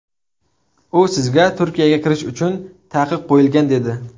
U sizga Turkiyaga kirish uchun taqiq qo‘yilgan dedi.